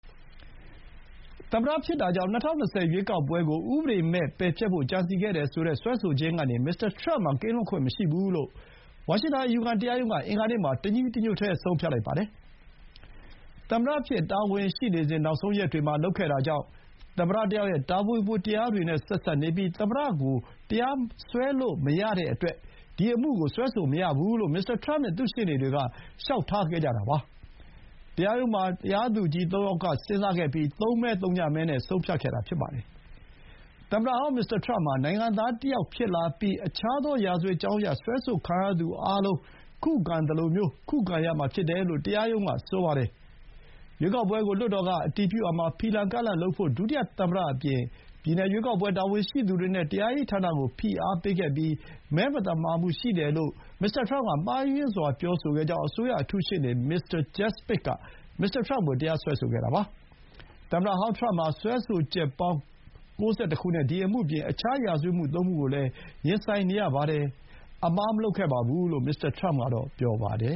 သမ္မတဖြစ်တာကြောင့် ၂၀၂၀ ရွေးကောက်ပွဲကို ဥပဒေမဲ့ပယ်ဖျက်ဖို့ ကြံစည်ခဲ့တယ်ဆိုတဲ့ စွဲဆိုခြင်းကနေ မစ္စတာထရမ့်မှာ ကင်းလွတ်ခွင့်မရှိဘူးလို့ ဝါရှင်တန် အယူခံတရားရုံးက အင်္ဂါနေ့မှာ တညီတညွတ်တည်း ဆုံးဖြတ်လိုက်ပါတယ်။ သမ္မတအဖြစ် တာဝန်ရှိစဥ် နောက်ဆုံးရက်တွေမှာလုပ်ခဲ့တာကြောင့် သမ္မတတယောက်ရဲ့ တာဝန်ဝတ္တရားတွေနဲ့ ဆက်စပ်နေပြီး သမ္မတကိုတရားစွဲဆိုလို့ မရတဲ့အတွက် ဒီအမှုကိုစွဲဆိုမရကြောင်း မစ္စတာထရမ့်နဲ့ သူ့ရှေ့နေတွေက လျှောက်ထားခဲ့ကြတာပါ။ တရားရုံးမှာ တရားသူကြီးသုံးယောက်ထိုင်ပြီး သုံးမဲ-သုညမဲနဲ့ ဆုံးဖြတ်ခဲ့တာဖြစ်ပါတယ်။ သမ္မတဟောင်း မစ္စတာထရမ့်ဟာ သာမန်နိုင်ငံသားတယောက်ဖြစ်လာပြီး အခြားသော ရာဇဝတ်ကြောင်းအရ စွဲဆိုခံရသူအားလုံး ခုခံသလို ခုခံရမှာဖြစ်တယ်လို့ တရားရုံးက ဆိုပါတယ်။ ရွေးကောက်ပွဲကို လွှတ်တော်ကအတည်ပြုရာမှာ ဖီလာကန့်လန့်လုပ်ဖို့ ဒုတိယသမ္မတအပြင် ပြည်နယ် ရွေးကောက်ပွဲတာဝန်ရှိသူတွေနဲ့ တရားရေးဌာနကို ဖိအားပေးခဲ့ပြီး မဲမသမာမှု ရှိတယ်လို့ မှားယွင်းစွာ ပြောဆိုခဲ့ကြောင်း အစိုးရအထူးရှေ့နေ မစ္စတာ ဂျက်စမစ် က မစ္စတာထရမ့်ကို တရားစွဲဆိုခဲ့တာပါ။ သမ္မတဟောင်း ထရမ့်ဟာ စွဲဆိုချက်ပေါင်း ၉၁ ခုနဲ့ ဒီအမှုအပြင် အခြား ရာဇဝတ်မှု ၃ မှုကိုလည်း ရင်ဆိုင်နေရပါတယ်။ "အမှားမလုပ်ခဲ့ဘူး" လို့ မစ္စတာ ထရမ့်ကတော့ ပြောပါတယ